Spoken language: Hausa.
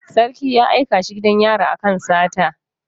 Sarki ya aika shi gidan yari akan sata